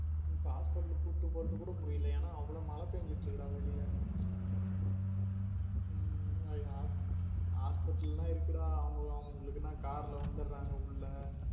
இப்ப hospital கூப்டு போகுறதுக்கு கூட முடியல என அவளோ மழ பேஞ்சிட்டு இருக்குடா வெளிய உம் hospital லாம் இருக்குடா அவங்களுக்கு என்ன car ல வந்துறாங்க உள்ள